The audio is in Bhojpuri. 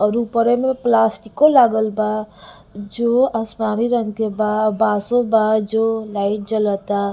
और उपरे में प्लास्टिको लगल बा जो असमानी रंग के बा बाँसों बा जो लाइट जलता--